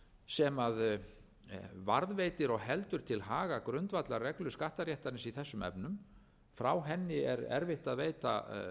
sem varðveitir og heldur til haga grundvallarreglu skattaréttarins í þessum efnum frá henni er erfitt að veita